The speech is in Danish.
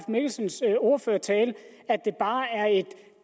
mikkelsens ordførertale at det bare er et